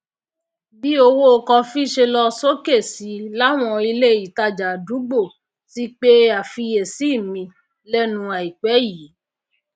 bí owó kọfí ṣe lọ sókè sí láwọn ilé ìtajà àdúgbò ti pe àfiyèsí mi lénu àìpé yìí